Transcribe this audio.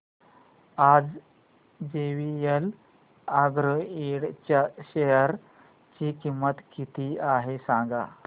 आज JVL agro Ind च्या share ची किंमत किती आहे सांगा